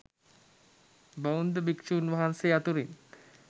බෞද්ධ භික්ෂුන් වහන්සේ අතුරින්